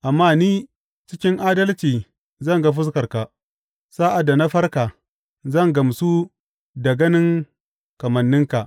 Amma ni, cikin adalci zan ga fuskarka; sa’ad da na farka, zan gamsu da ganin kamanninka.